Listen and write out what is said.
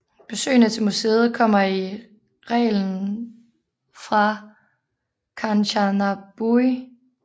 Besøgende til museet kommer i reglen fra Kanchanaburi